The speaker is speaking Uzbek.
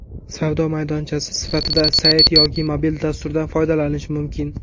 Savdo maydonchasi sifatida sayt yoki mobil dasturdan foydalanish mumkin.